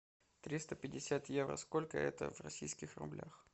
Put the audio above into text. триста пятьдесят евро сколько это в российских рублях